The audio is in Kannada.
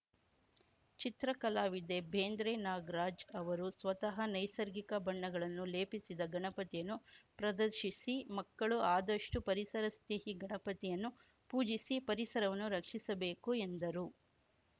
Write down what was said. ಚಿತ್ರಕಲಾವಿದೆ ಬೇಂದ್ರೆ ನಾಗರಾಜ್‌ ಅವರು ಸ್ವತಃ ನೈಸರ್ಗಿಕ ಬಣ್ಣಗಳನ್ನು ಲೇಪಿಸಿದ ಗಣಪತಿಯನ್ನು ಪ್ರದರ್ಶಿಸಿ ಮಕ್ಕಳು ಆದಷ್ಟುಪರಿಸರ ಸ್ನೇಹಿ ಗಣಪತಿಯನ್ನು ಪೂಜಿಸಿ ಪರಿಸರವನ್ನು ರಕ್ಷಿಸಬೇಕು ಎಂದರು